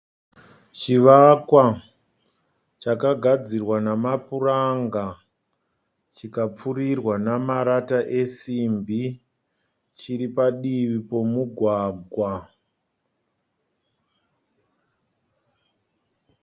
Chivakwa chakagadzirwa namapuranga chikapfurirwa namarata esimbi. Chiri padivi pomugwagwa.